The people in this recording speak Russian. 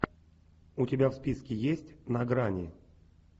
у тебя в списке есть на грани